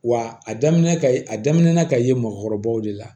Wa a daminɛ ka a daminɛ na ka ye mɔɔkɔrɔbaw de la